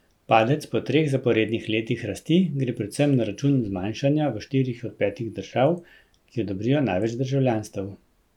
Padec po treh zaporednih letih rasti gre predvsem na račun zmanjšanja v štirih od petih držav, ki odobrijo največ državljanstev.